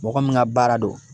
Mɔgɔ min ka baara don